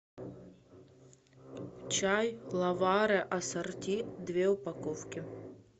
чай ловаре ассорти две упаковки